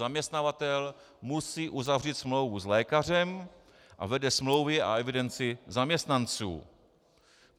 Zaměstnavatel musí uzavřít smlouvu s lékařem a vede smlouvy a evidenci zaměstnanců.